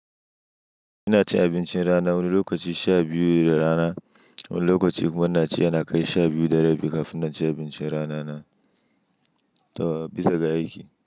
Ina cin abincin rana wani lokaci sha biyu na rana, wani lokaci kuma ina ci yana kai sha biyu da rabi kafin na ci abincin rana na, to bisa ga aiki.